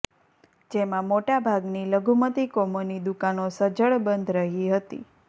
જેમાં મોટાભાગની લઘુમતી કોમોની દુકાનો સજ્જડ બંધ રહી હતી